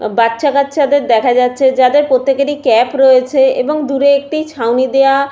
বাচ্চা কাচ্চাদের দেখা যাচ্ছে যাদের প্রত্যেকেরই ক্যাপ রয়েছে এবং দূরে একটি ছাউনি দেওয়া--